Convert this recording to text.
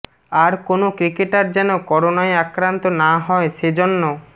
আর কোনো ক্রিকেটার যেন করোনায় আক্রান্ত না হয় সেজন্য